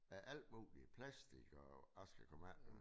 Af alt muligt plastik og jeg skal komme efter dig